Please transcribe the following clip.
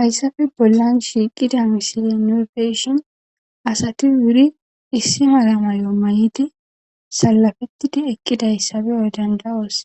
Hayssafe bollan shiiqida misili nuufeyshin asati wuri issi mala mayo mayidi salafettidi eqqidayssabeyoy dandawos